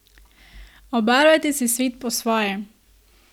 Obarvajte si svet po svoje!